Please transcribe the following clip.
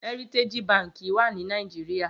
Hèritéji bànkí wà ni Nigeria